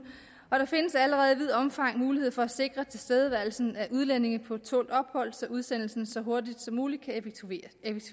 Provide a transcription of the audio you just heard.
og der findes allerede i vidt omfang en mulighed for at sikre tilstedeværelsen af udlændinge på tålt ophold så udsendelsen så hurtigt som muligt kan at